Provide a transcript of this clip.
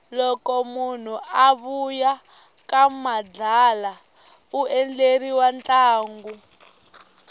loko munhu a vuya ka madlala undleriwa ntlango